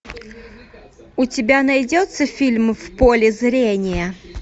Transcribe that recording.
у тебя найдется фильм в поле зрения